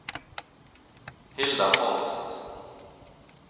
Hilda Holst